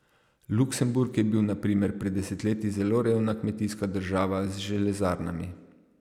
Luksemburg je bil na primer pred desetletji zelo revna kmetijska država z železarnami.